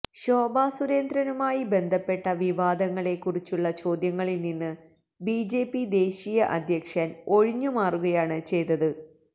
ശോഭ സുരേന്ദ്രനുമായി ബന്ധപ്പെട്ട വിവാദങ്ങളെ കുറിച്ചുള്ള ചോദ്യങ്ങളിൽ നിന്ന് ബിജെപി ദേശീയ അധ്യക്ഷൻ ഒഴിഞ്ഞുമാറുകയാണ് ചെയ്തത്